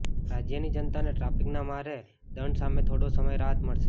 રાજ્યની જનતાને ટ્રાફિકના ભારે દંડ સામે થોડો સમય રાહત મળશે